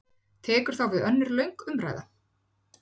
Tekur þá við önnur löng umræða?